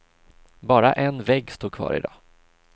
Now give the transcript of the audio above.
Bara en vägg står kvar i dag.